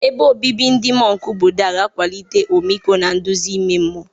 Ebe obibi ndị mọnk Buddha ga-akwalite ọmịiko na nduzi ime mmụọ.